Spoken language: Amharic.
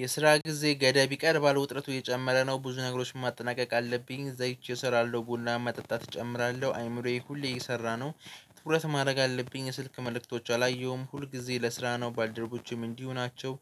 የስራ ጊዜ ገደብ ይቀርባለ። ውጥረቱ እየጨመረ ነው። ብዙ ነገሮችን ማጠናቀቅ አለብኝ። እዛ ሂጄ እሰራለሁ። ቡናም መጠጣት እጨምራለሁ። አይምሮዬ ሁሌ እየሰራ ነው። ትኩረት ማድረግ አለብኝ። የስልክ መልእክቶች አላየሁም ሁል ጊዜ ለስራ ነው። ባልደረቦቼም እንዲሁ ናቸው።